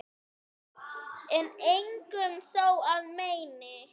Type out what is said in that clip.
en engum þó að meini